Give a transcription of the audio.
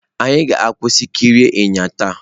Anyị ga-akwụsị ikiri enyí taa.